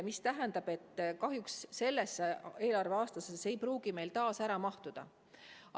See tähendab, et kahjuks järgmisse eelarveaastasse see ei pruugi meil ära mahtuda.